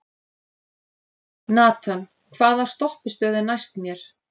Nathan, hvaða stoppistöð er næst mér?